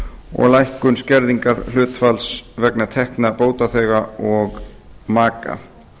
og lækkun skerðingarhlutfalls vegna tekna bótaþega og maka